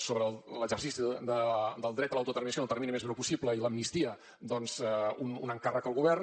sobre l’exercici del dret a l’autodeterminació en el termini més breu possible i l’amnistia doncs un encàrrec al govern